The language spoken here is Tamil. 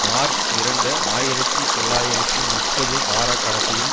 மார்ச் இரண்டு ஆயிரத்தி தொள்ளாயிரத்தி முப்பது வார கடைசியில்